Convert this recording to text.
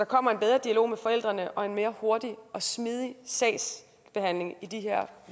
kommer en bedre dialog med forældrene og en hurtigere og smidigere sagsbehandling i de her